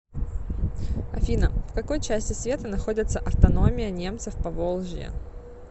афина в какой части света находится автономия немцев поволжья